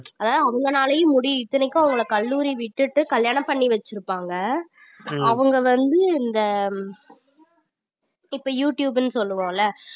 அதாவது அவங்களாலையும் முடியி~ இத்தனைக்கும் அவங்கள கல்லூரி விட்டுட்டு கல்யாணம் பண்ணி வச்சிருப்பாங்க அவங்க வந்து இந்த இப்ப யூடியூப்னு சொல்லுவோம்ல